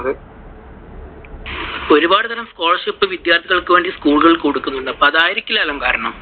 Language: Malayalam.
ഒരുപാട്തരം scholarship കൾ വിദ്യാർത്ഥികൾക്ക് വേണ്ടി SCHOOL കൾ കൊടുക്കുണ്ട്. അപ്പോ അതായിരിക്കൂല്ലല്ലോ കാരണം.